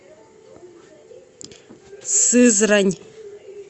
сызрань